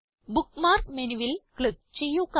bookmark menuൽ click ചെയ്യുക